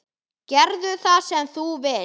Gerðu það sem þú vilt!